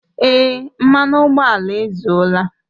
Èé, mmanụ ụgbọala ezuola